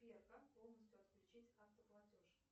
сбер как полностью отключить автоплатеж